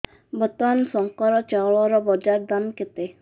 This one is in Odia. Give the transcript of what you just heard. ବର୍ତ୍ତମାନ ଶଙ୍କର ଚାଉଳର ବଜାର ଦାମ୍ କେତେ